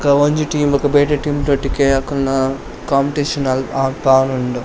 ಬೊಕ ಒಂಜಿ ಟೀಮ್ ಗ್ ಬೇತೆ ಟೀಮ್ ದೊಟ್ಟಿಗೆ ಅಕಲ್ನ ಕೋಂಪಿಟೇಶನ್ ಅಲ್ಪ್ ಅಲ್ಪ ಆವೊಂದುಂಡು.